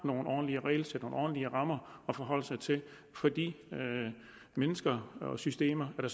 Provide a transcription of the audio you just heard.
nogle ordentlige regelsæt og nogle ordentlige rammer at forholde sig til for de mennesker og systemer der